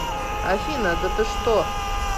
афина да ты что